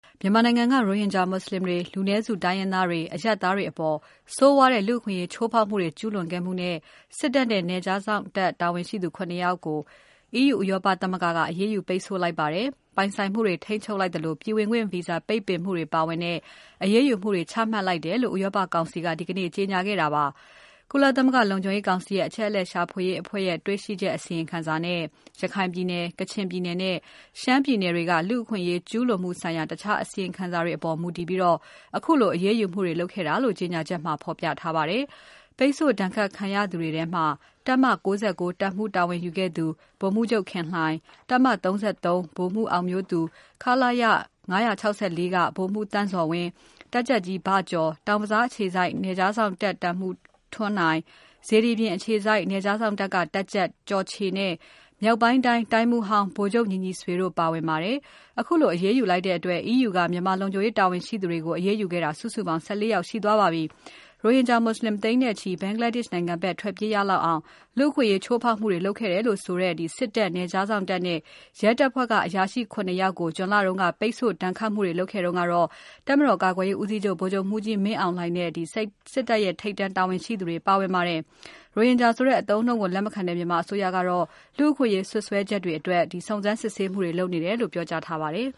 မြန်မာနိုင်ငံက ရိုဟင်ဂျာမွတ်ဆလင်တွေ၊ လူနည်းစုတိုင်းရင်းသားတွေ၊ အရပ်သားတွေအပေါ် ဆိုးဝါးတဲ့ လူ့အခွင့်အရေးချိုးဖောက်မှုတေ ွကျူးလွန်ခဲ့မှုနဲ့ စစ်တပ်နဲ့ နယ်ခြားစောင့်တပ်တာဝန်ရှိသူ ၇ ယောက်ကို EU ဥရောပသမဂ္ဂက အရေးယူပိတ်ဆို့လိုက်ပါတယ်။ ပိုင်ဆိုင်မှုတွေ ထိန်းချုပ်လိုက်သလို ပြည်ဝင်ခွင့်ပိတ်ပင်တာအပါအဝင် အရေးယူမှုတွေချမှတ်လိုက်တယ်လို့ ဥရောပကောင်စီက ဒီကနေ့ကြေညာလိုက်တာပါ။ ကုလသမဂ္ဂလုံခြုံရေးကောင်စီရဲ့ အချက်အလက် ရှာဖွေရေးအဖွဲ့ရဲ့ တေ့ွရှိချက်အစီရင်ခံစာနဲ့ ရခိုင်ပြည်နယ်၊ ကချင်ပြည်နယ်နဲ့ ရှမ်းပြည်နယ်တွေက လူ့ အခွင့်အရေး ကျူးလွန်မှုဆိုင်ရာ တခြားအစီရင်ခံစာတွေအပေါ် မူတည်ပြီး ခုလိုအရေးယူခဲ့တာလို့ ကြေညာချက်မှာ ဖော်ပြထားပါတယ်။ ပိတ်ဆို့ ဒဏ်ခတ်ခံရသူတွေထဲမှာ တပ်မ ၉၉ တပ်မှူး တာဝန်ယူခဲ့သူ ဗိုလ်မှူးချုပ် ခင်လှိုင်၊ တပ်မ ၃၃ ဗိုလ်မှူး အောင်မျိုးသူ၊ ခလရ ၅၆၄ က ဗိုလ်မှူး သန့်ဇော်ဝင်း၊ တပ်ကြပ်ကြီး ဘကျော်၊ တောင်ဘဇား အခြေစိုက် နယ်ခြား စောင့်တပ်မှူး ထွန်းနိုင်၊ စေတီပြင် အခြေစိုက် နယ်ခြားစောင့်တပ်က တပ်ကြပ် ကျော်ချေနဲ့ မြောက်ပိုင်းတိုင်း တိုင်းမှူးဟောင်း ဗိုလ်ချုပ် ညီညီဆွေတို့ပါဝင်ပါတယ်။ အခုအရေးယူလိုက်တဲ့အတွက် EU က မြန်မာလုံခြုံရေးတာဝန်ရှိသူတွေကို အရေးယူခဲ့တာ စုစုပေါင်း ၁၄ ယောက်ရှိသွားပါပြီ။ ရိုဟင်ဂျာ မွတ်ဆလင်သိန်းနဲ့ချီ Bangladesh နိုင်ငံဘက်ထွက်ပြေးရလောက်အောင် လူ့အခွင့်အရေး ချိုးဖောက်မှုတွေ လုပ်ခဲ့တယ်လို့ဆိုတဲ့ စစ်တပ်၊ နယ်ခြားစောင့်တပ်နဲ့ ရဲတပ်ဖွဲ့က အရာရှိ ၇ ယောက်ကို ဂျွန်လတုန်းက ပိတ်ဆို့ဒဏ်ခတ်မှုတွေလုပ်ခဲ့တုန်းကတော့ တပ်မတော်ကာကွယ်ရေးဦးစီးချုပ် ဗိုလ်ချုပ်မှူးကြီးမင်းအောင်လှိုင်နဲ့ စစ်တပ်ထိပ်တန်းတာဝန်ရှိသူတွေ ပါဝင်ပါတယ်။ ရိုဟင်ဂျာဆိုတဲ့ အသုံးအနှုန်းကို လက်မခံတဲ့မြန်မာအစိုးရကတော့ လူ့အခွင့်အရေး စွပ်စွဲချက်တွေအတွက် စုံစမ်းစစ်ဆေး နေတယ်လို့ ပြောကြားထားပါတယ်